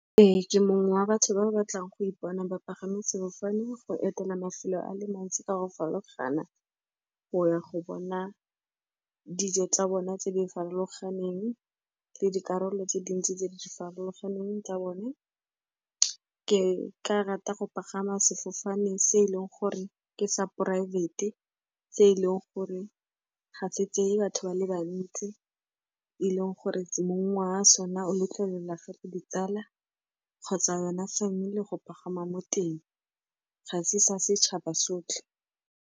Ee, ke mongwe wa batho ba ba batlang go ipona bapagame sefofane, go etela mafelo a le mantsi ka go farologana, go ya go bona dijo tsa bone tse di farologaneng le dikarolo tse dintsi tse di farologaneng tsa bone. Ke ka rata go pagama sefofane se e leng gore ke sa poraefete, tse e leng gore ga se tseye batho ba le bantsi, e leng gore mongwe wa sona o lotlela gape ditsala kgotsa yona family go pagama mo teng, ga se sa setšhaba sotlhe.